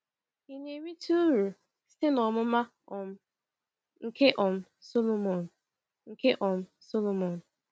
Ị na-erite uru site n’ọmụma um nke um Sọlọmọn? nke um Sọlọmọn?